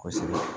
Kosɛbɛ